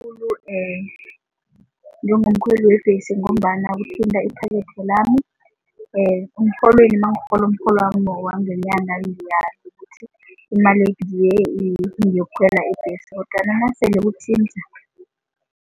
Njengomkhweli webhesi ngombana kuthinta iphakethe lami emrholweni nangirholo umrholwami wangenyanga ukuthi imali ngeyokukhwela ibhesi kodwana nasele kuthinta.